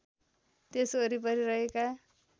त्यस वरिपरि रहेका